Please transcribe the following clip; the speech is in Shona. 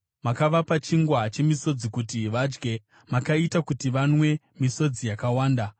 Makavapa chingwa chemisodzi kuti vadye; makaita kuti vanwe misodzi yakawanda.